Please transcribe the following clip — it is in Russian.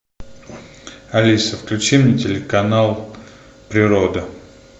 алиса включи мне телеканал природа